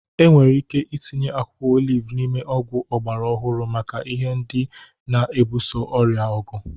Enwere ike itinye akwụkwọ oliv n'ime ọgwụ ọgbara ọhụrụ maka ihe ndị na-ebuso ọrịa ọgụ.